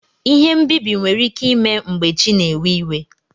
Ihe mbibi nwere ike ime mgbe chi na ewe iwe.